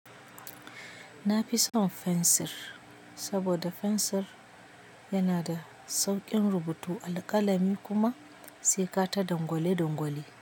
Na fi son fensir, saboda fensir yana da sauƙin rubutu alƙalami kuma sai ka ta dangwale dangwale.